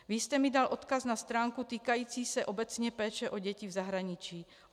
Vy jste mi dal odkaz na stránku týkající se obecně péče o děti v zahraničí.